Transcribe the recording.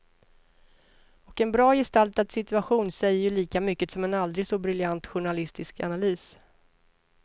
Och en bra gestaltad situation säger ju lika mycket som en aldrig så briljant journalistisk analys.